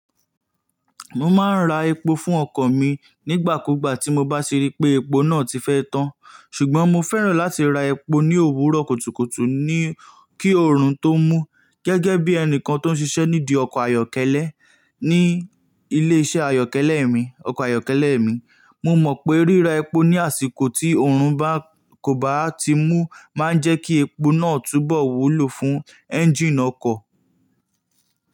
Mo máa ń ra epo fún ọkọ̀ mi nígbà kúgbà tí mo bá ṣe rí pé epo náà ti fẹ́ tán. Ṣùgbọ́n mo fẹ́ràn láti ra epo ní òwúrọ̀ kùtùkùtù ni-- kí oòrùn tó mú. Gẹ́gẹ́ bí ẹni kan tó ń ṣiṣẹ́ nídi ọkọ̀ ayọ́kẹ́lẹ́ ní ilé iṣẹ́ ayọ́kẹ́lẹ́ mi, ọkọ̀ ayọ́kẹ́lẹ́ mi, mo mọ̀ pé ríra epo ní àsìkò tí òórùn bá kò bá ti mú máa ń jẹ́ kí epo náà túbọ̀ wúlò fún ẹ́ńjíìnì ọkọ̀.